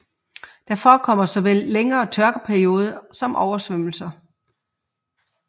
Der forekommer såvel længere tørkeperioder som oversvømmelser